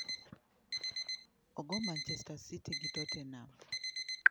Ogo Manchester City gi Tottenham